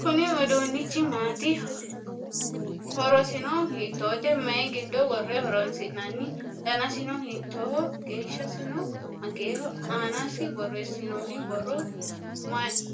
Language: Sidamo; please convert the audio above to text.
Kuni uduunnichi maati? Horosino hiittote? Mayii giddo worre horonsi'nanni? Danasino hiittoho? Geeshsasino mageeho? Aanasi borreessinoonni borro